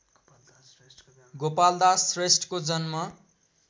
गोपालदास श्रेष्ठको जन्म